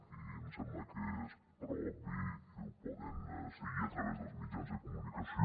i em sembla que és prou obvi i ho poden seguir a través dels mitjans de comunicació